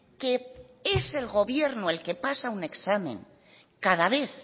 que es el gobierno el que pasa un examen cada vez